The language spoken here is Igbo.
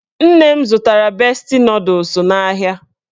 Nne m zụtara besti nọdụs n'ahịa